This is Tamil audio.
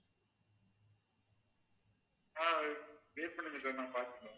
ஆஹ் wait பண்ணுங்க sir நான் பாத்துட்டு சொல்றேன்